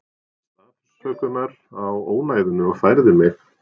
Baðst afsökunar á ónæðinu og færði mig.